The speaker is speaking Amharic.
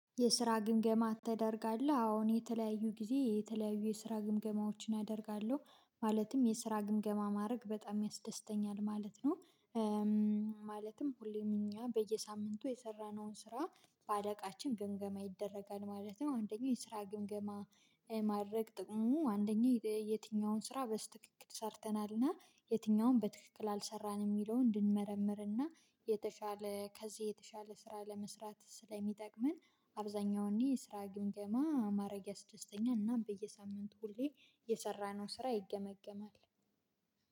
የስራ ግምገማ ተደርጋለህ? አዎ እኔ የተለያዩ ጊዜ የተለያዩ የስራ ግምገማዎችን አደርጋለሁ። ማለትም የስራ ግምገማ ማድረግ በጣም ያስደስተኛል ማለት ነው። ማለትም ሁሌም እኛ በየሳምንቱ የሰራነውን ስራ በአለቃችን ግምገማ ይደረጋል ማለት ነው። አንደኛው የስራ ግምገማ ማድረግ ጥቅሙ አንደኛ የትኛውን ስራ በስተክክክል ሰርተናል እና የትኛውን በትክክል አልሰራንም የሚለውን እንድንመረምርና የተሻለ ከዚህ የተሻለ ስራ ለመስራት ስለሚጠቅመን አብዛኛውን እኔ እንዲህ ስራ ግምገማ ማረግ ያስደስተኛል እና በየሳምንቱ ሁሌ የሰራነው ስራ ይገመገማል